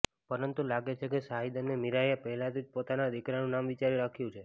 પરંતુ લાગે છે કે શાહિદ અને મીરાએ પહેલાંથી જ પોતાના દિકરાનું નામ વિચારી રાખ્યું છે